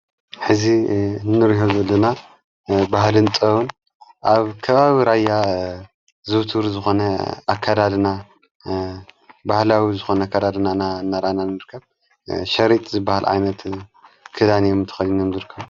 ሕዚ እንርዮ ዘድና ባህልንጠውን ኣብ ከባብ ራያ ዝውቱር ዝኾነ ኣከዳድና ባህላዊ ዝኾነ ከዳድናና እነራናን ምርከብ ሸሪጥ ዝበሃል ኣይነት ክዳንእዮምተኸኒምድርከሩ።